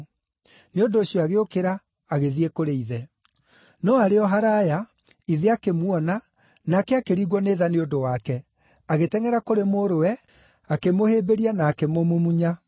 Nĩ ũndũ ũcio agĩũkĩra, agĩthiĩ kũrĩ ithe. “No arĩ o haraaya, ithe akĩmuona, nake akĩringwo nĩ tha nĩ ũndũ wake; agĩtengʼera kũrĩ mũrũwe, akĩmũhĩmbĩria na akĩmũmumunya.